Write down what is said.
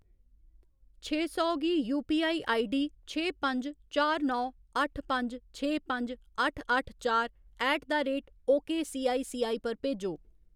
छे सौ गी यूपीआई आईडी छे पंज चार नौ अट्ठ पंज छे पंज अट्ठ अट्ठ चार ऐट द रेट ओकेसीआईसीआई पर भेजो।